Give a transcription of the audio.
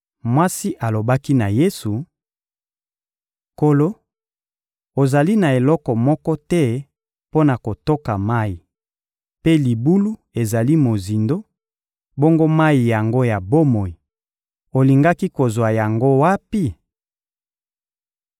Mwasi alobaki na Yesu: — Nkolo, ozali na eloko moko te mpo na kotoka mayi, mpe libulu ezali mozindo; bongo mayi yango ya bomoi, olingaki kozwa yango wapi?